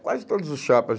Quase todos os chapas.